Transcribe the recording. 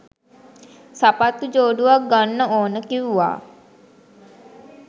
සපත්තු ජෝඩුවක් ගන්න ඕන කිව්ව.